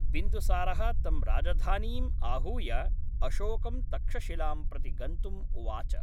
बिन्दुसारः तं राजधानीम् आहूय, अशोकं तक्षशिलां प्रति गन्तुम् उवाच।